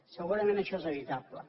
segurament això és evitable